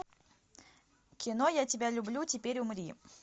кино я тебя люблю теперь умри